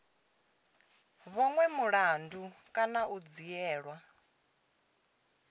vhonwe mulandu kana u dzhielwa